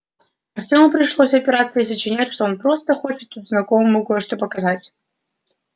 артему пришлось отпираться и сочинять что он просто хочет тут знакомому кое-что показать